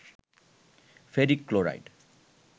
ferric chloride